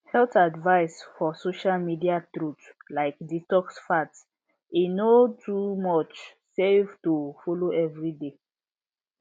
health advice for social media truth like detox fads e no too much save to follow every dey